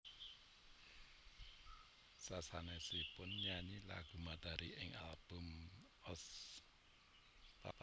Sasanesipun nyanyi lagu Matahari ing album Ost